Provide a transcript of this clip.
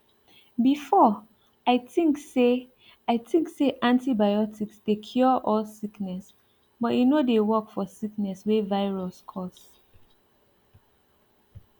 before i think say i think say antibiotics dey cure all sickness but e no dey work for sickness wey virus cause